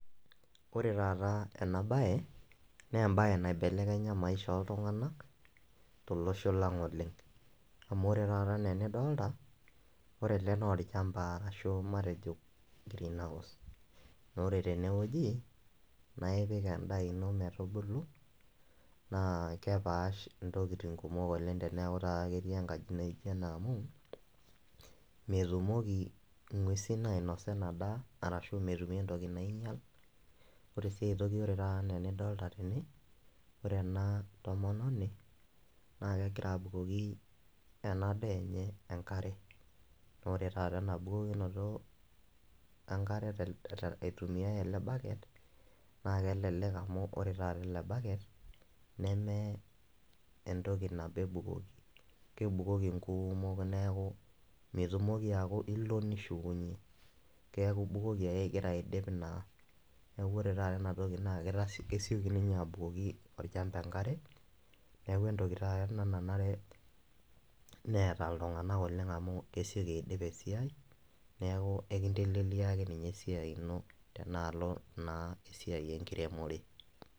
Ore taata ena baye nee embaye naibelekenya maisha ooltung'anak tolosho lang' oleng' amu ore taata nee enidolta, ore ele naa olchamba arashu matejo greenhouse. Naa ore tene wueji naa ipik endaa ino metubulu naa kepaash ntokitin kumok oleng' teneeku taa ketii enkaji naijo ena amu metumoki ing'uesin ainosa ina daa arashu metumi entoki nainyal. Ore sii ai toki ore taata nee enidolta tene, ore ena tomononi naake egira abukoki ena daa enye enkare. Ore taata ena bukokinoto enkare te te aitumia ele bucket naake elelek amu ore taata ele bucket ,neme entoki nabo ebukoki kebukoki nkuumok neeku mitumoki aaku ilo nishukunye keeku ibukoki ake ing'ira aidip naa. Neeku ore taata ena toki naake kesioki ninye abukoki olchamba enkare, neeku entoki taata ena nanare neeta iltung'anak oleng' amu esioki aidip esiai, neeku ekinteleleliaki ninye esiai ino tenaalo naa esiai enkiremore.